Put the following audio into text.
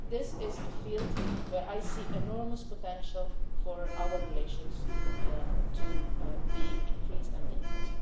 This is a field where I see enormous potential for our relations to be increased and deepened.